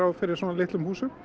fyrir svona litlum húsum